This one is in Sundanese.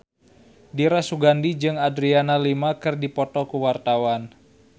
Dira Sugandi jeung Adriana Lima keur dipoto ku wartawan